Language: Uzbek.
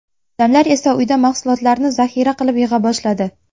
Odamlar esa uyda mahsulotlarni zaxira qilib yig‘a boshladi.